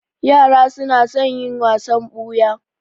Yara su na son yin wasan ɓuya